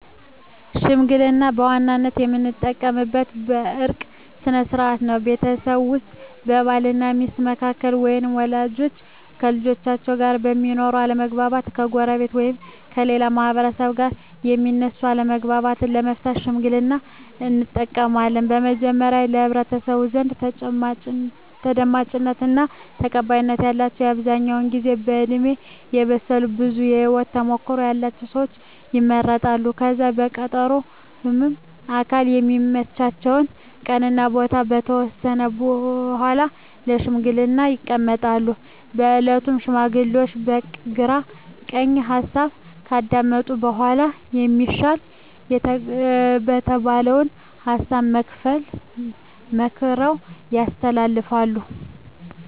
ሽምግልና በዋናነት የምንጠቀምበት የእርቅ ስነ ስርዓት ነው። ቤተሰብ ውስጥ በባል እና ሚስት መካከል ወይም ወላጆች ከልጆቻቸው ጋር በሚኖር አለመግባባት፣ ከጎረቤት ወይም ከሌላ ማህበረሰብ ጋር በሚነሱ አለመግባባቶች ለመፍታት ሽምግልናን እንጠቀማለን። በመጀመሪያ በህብረተሰቡ ዘንድ ተደማጭነት እና ተቀባይነት ያላቸው በአብዛኛው ጊዜ በእድሜ የበሰሉ ብዙ የህወት ተሞክሮ ያለቸው ሰወች ይመረጣሉ። ከዛም በቀጠሮ ሁምም አካላት የሚመቻቸውን ቀን እና ቦታ ከተወሰነ በኃላ ለሽምግልና ይቀመጣሉ። በእለቱም ሽማግሌዎቹ የግራ ቀኝ ሀሳብ ካዳመጡ በኃላ የሚሻል የተባለውን ሀሳብ መክረው ያስተላልፋሉ።